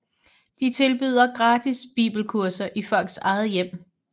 De tilbyder gratis bibelkurser i folks eget hjem